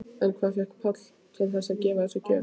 En hvað fékk Pál til þess að gefa þessa gjöf?